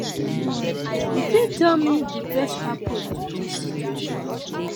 you fit tell me di best approach to dis situation?